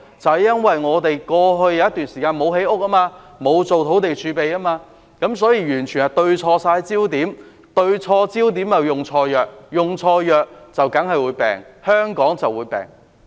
正因為過去一段時間，我們沒有建屋，沒有建立土地儲備，完全對錯焦點，對錯焦點便用錯藥，用錯藥香港當然會生病。